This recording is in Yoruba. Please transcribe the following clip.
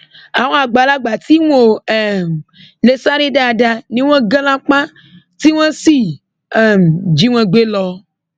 àwọn àgbàlagbà tí wọn ò um lè sáré dáadáa ni wọn gan lápá tí wọn sì sì um jí wọn gbé lọ